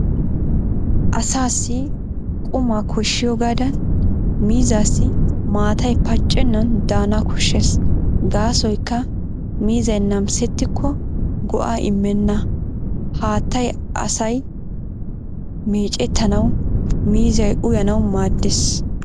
Asaassi qumaa koshshiyoogaadan miizzaassi maatay paccennan daana koshshees gaasoykka miizzay namisettikko go'aa immenna. Haattay asay meecettanawu , miizzay uyanawu maaddees.